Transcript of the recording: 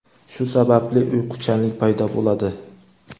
shu sababli uyquchanlik paydo bo‘ladi.